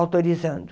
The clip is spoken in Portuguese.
autorizando.